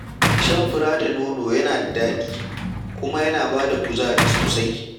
Shan fura da nono yana da daɗi, kuma yana ba da kuzari sosai.